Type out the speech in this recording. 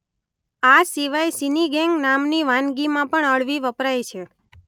આ સિવાય સિનિગેન્ગ નામની વાનગીમાં પણ અળવી વપરાય છે.